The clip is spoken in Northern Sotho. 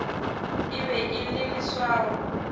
e be e le leswao